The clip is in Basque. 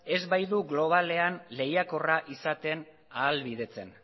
ez baitu globalean lehiakorra izaten ahalbidetzen